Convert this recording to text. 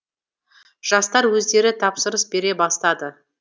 жастар өздері тапсырыс бере бастады